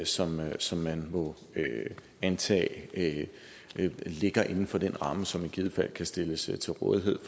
som som man må antage ligger inden for den ramme som i givet fald kan stilles til rådighed